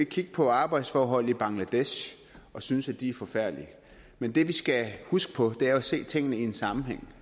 kigge på arbejdsforhold i bangladesh og synes at de er forfærdelige men det vi skal huske på er jo at se tingene i en sammenhæng